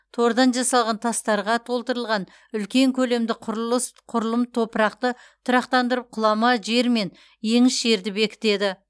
тордан жасалған тастарға толтырылған үлкен көлемді құрылыс құрылым топырақты тұрақтандырып құлама жер мен еңіс жерді бекітеді